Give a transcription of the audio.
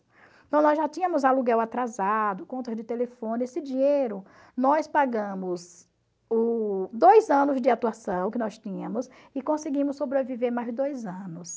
Então, nós já tínhamos aluguel atrasado, contas de telefone, esse dinheiro, nós pagamos o dois anos de atuação que nós tínhamos e conseguimos sobreviver mais dois anos.